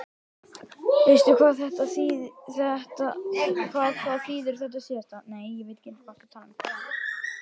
Veistu hvað það þýðir þetta síðasta?